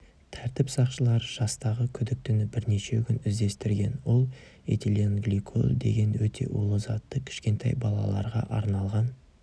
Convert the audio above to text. тәртіп сақшылары жастағы күдіктіні бірнеше күн іздестірген ол этиленгликоль деген өте улы затты кішкентай балаларға арналған